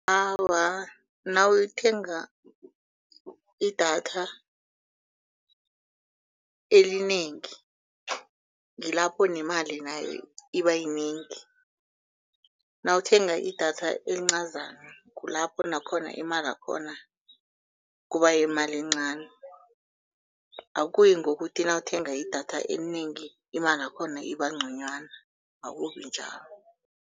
Awa, nawuthenga idatha elinengi ngilapho nemali nayo iba yinengi, nawuthenga idatha elincazana kulapho nakhona imalakhona kuba yimali encani. Akuyi ngokuthi nawuthenga idatha elinengi imalakhona iba ngconywana, akubi njalo.